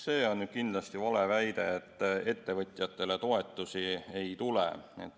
See on kindlasti vale väide, et ettevõtjatele toetusi ei tule.